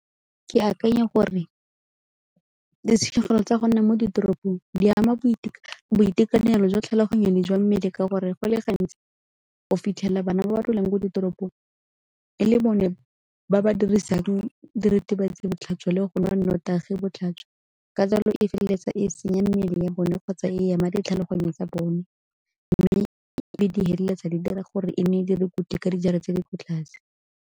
Ke akanya gore ditshenyegelo tsa go nna mo ditoropong di ama boitekanelo jwa tlhaloganyo le jwa mmele ka gore go le gantsi o fitlhela bana ba dulang ko ditoropong e le bone ba ba dirisang diritibatsi botlhaswa le go nwa nnotagi botlhaswa. Ka jalo e feleletsa e senya mmele ya bone kgotsa e ama ditlhaloganyo tsa bone mme e be di feleletsa di dira gore e nne ka dijara tse di ko tlase.